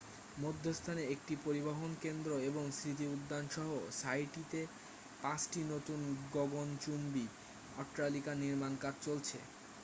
মধ্যস্থানে একটি পরিবহন কেন্দ্র এবং স্মৃতি উদ্যান সহ সাইটটিতে পাঁচটি নতুন গগণচুম্বী অট্টালিকার নির্মাণ কাজ চলছে